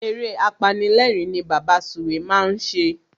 Eré apanilérìn ni Bàbá Sùwé máa ń ṣe.